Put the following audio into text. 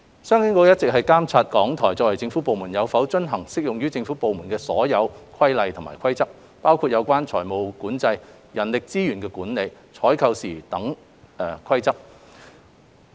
商經局一直監察港台作為政府部門，有否遵行適用於政府部門的所有規例和規則，包括有關財務管理、人力資源管理、採購等事宜的規則。